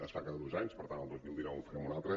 es fa cada dos anys per tant el dos mil dinou en farem una altra